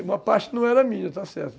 E uma parte não era minha, está certo?